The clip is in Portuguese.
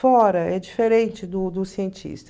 Fora, é diferente do do cientista.